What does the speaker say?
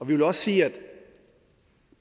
vil også sige at